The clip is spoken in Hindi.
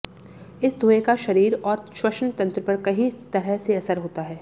इस धुएं का शरीर और श्वसन तंत्र पर कई तरह से असर होता है